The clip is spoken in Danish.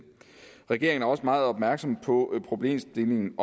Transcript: regeringen er også meget opmærksom på problemstillingen